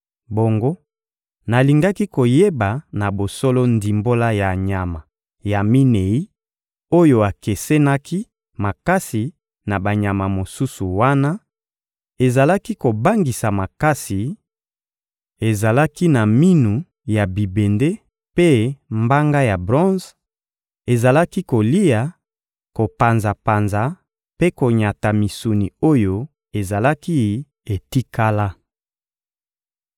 Bongo, nalingaki koyeba na bosolo ndimbola ya nyama ya minei oyo ekesenaki makasi na banyama mosusu wana, ezalaki kobangisa makasi, ezalaki na minu ya bibende mpe mbanga ya bronze, ezalaki kolia, kopanzapanza mpe konyata misuni oyo ezalaki etikala.